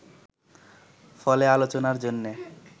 ফলে আলোচনার জন্যে